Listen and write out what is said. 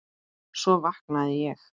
Svo vaknaði ég.